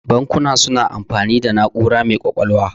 Bankuna suna amfani da na'ura mai ƙwaƙwalwa.